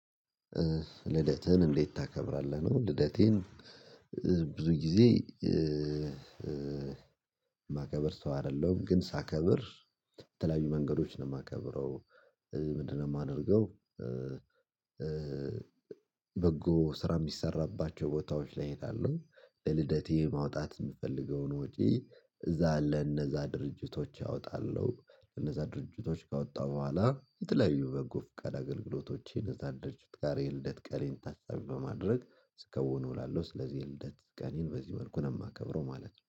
ልደትህን እንዴት ታከብራለህ ነው? ልደቴን ብዙ ጊዜ ማከብር ሰው አይደለም ግን ሳከብር ተለያዩ መንገዶች ነው የማከብረው። ምንድነው የማደርገው? በጎ ስራ የሚሰራባቸው ቦታዎች ላይ እሄዳለሁ። ለልደቴ ማውጣት የምፈልገውን ወጪ እዛ አለ እነዛ ድርጅቶች አወጣለሁ። እነዛ ድርጅቶች ካወጣሁ በኋላ የተለያዩ በጎ ፍቃድ አገልግሎቶች እነዛ ድርጅት ጋር የልደት ቀኔን ታሳቢ በማድረግ ስከውን እውላለሁ። ስለዚህ የልደት ቀኔን በዚህ መልኩ ነው የማከብረው ማለት ነው